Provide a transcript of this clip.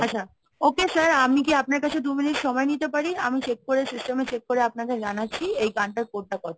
আচ্ছা, Okay sir আমি কি আপনার কাছে দু minute সময় নিতে পারি? আমি check করে system এ check করে আপনাদের জানাচ্ছি. এই গানটার code টা কত?